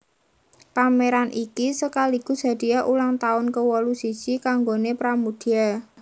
Pameran iki sekaligus hadiah ulang tahun kewolu siji kanggoné Pramoedya